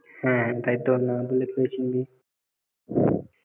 হ্যাঁ তাইতো না বললে কি করে চিনবি?